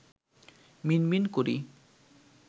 মিনমিন করি